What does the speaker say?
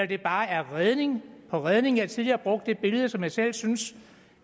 det bare er redning på redning jeg har tidligere brugt et billede som jeg selv synes